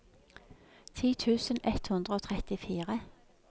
ti tusen ett hundre og trettifire